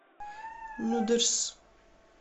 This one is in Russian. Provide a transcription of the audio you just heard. нудерс